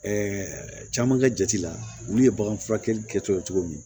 caman ka jate la olu ye bagan furakɛli kɛtɔ ye cogo min